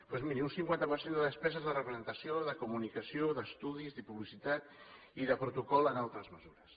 doncs miri un cinquanta per cent de despeses de representació de comunicació d’estudis de publicitat i de protocol en altres mesures